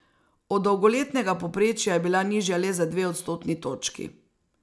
Od dolgoletnega povprečja je bila nižja le za dve odstotni točki.